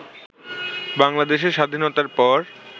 বাংলাদেশের স্বাধীনতার পর